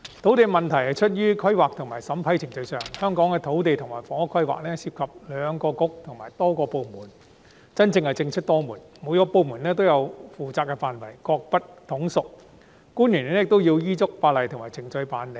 土地問題出於規劃及審批程序上，香港的土地及房屋規劃涉及兩個政策局和多個部門，真的是政出多門，每個部門都有其負責的範圍，各不統屬，官員亦要依足法例及程序辦事。